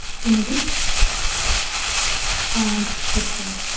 என்னது? ஆஹ் சரி சொல்லு.